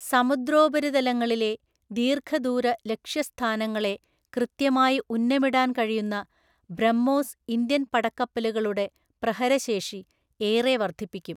സമുദ്രോപരിതലങ്ങളിലെ ദീര്ഘദൂരലക്ഷ്യസ്ഥാനങ്ങളെ കൃത്യമായി ഉന്നമിടാന്‍ കഴിയുന്ന ബ്രഹ്മോസ് ഇന്ത്യന്‍ പടക്കപ്പലുകളുടെ പ്രഹരശേഷി ഏറെ വര്ദ്ധിപ്പിക്കും.